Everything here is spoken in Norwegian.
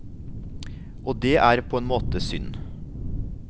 Og det er på en måte synd.